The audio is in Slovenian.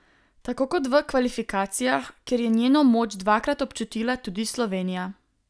Tako kot v kvalifikacijah, kjer je njeno moč dvakrat občutila tudi Slovenija.